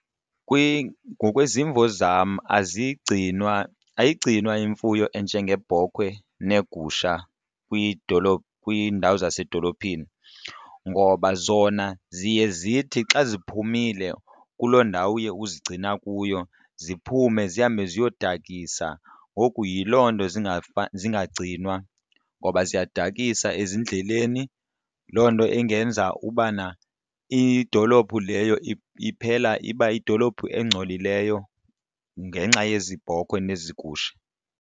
ngokwezimvo zam azigcinwa, ayigcinwa imfuyo enjengeebhokhwe neegusha kwidolophu, kwiindawo zasedolophini ngoba zona ziye zithi xa ziphumile kuloo ndawo uye uzigcina kuyo ziphume zihambe ziyodakisa. Ngoku yiloo nto zingagcinwa ngoba ziyadakisa ezindleleni loo nto ingenza ubana idolophu leyo iphela iba yidolophu engcolileyo ngenxa yezi bhokhwe nezi gusha.